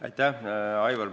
Aitäh, Aivar!